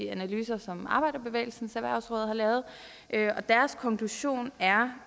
analyser som arbejderbevægelsens erhvervsråd har lavet og deres konklusion er